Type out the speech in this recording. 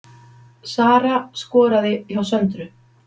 Sara skoraði hjá Söndru